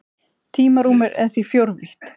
Tímarúmið er því fjórvítt.